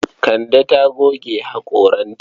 Kande ta goge haƙoranta.